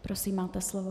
Prosím, máte slovo.